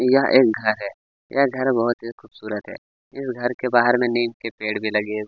यह एक घर है यह घर बहुत ही खूबसूरत है इस घर के बाहर में एक पेड़ भी लगे--